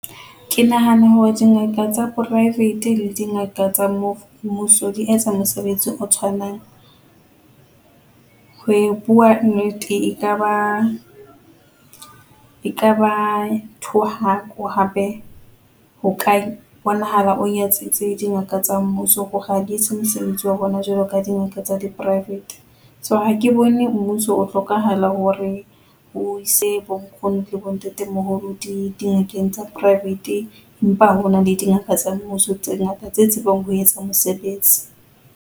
Ke nahana hore dingaka tsa private le dingaka tsa mo mmuso di etsa mosebetsi o tshwanang, ho bua nnete e ka ba e ka ba e ka ba thohako hape ho ka bonahala o nyatsitse dingaka tsa mmuso hore ha di etse mosebetsi wa bona jwalo ka dingaka tsa di-private. So, ha ke bone mmuso o hlokahala hore o ise bonkgono le bontate moholo dingakeng tsa private empa hona le dingaka tsa mmuso, tse ngata tse tsebang ho etsa mosebetsi.